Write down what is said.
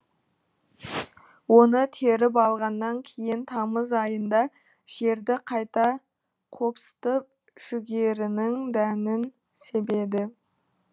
оны теріп алғаннан кейін тамыз айында жерді қайта қопсытып жүгерінің дәнін себеді